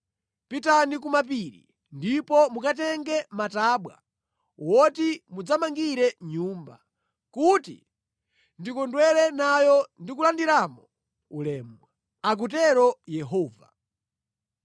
Pitani ku mapiri ndipo mukatenge matabwa oti mudzamangire Nyumba yanga, kuti ndikondwere nayo ndi kulandiramo ulemu,” akutero Yehova.